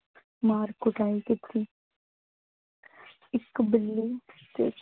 ਮਾਰ ਕੁਟਾਈ ਕੀਤੀ। ਇੱਕ ਬਿੱਲੀ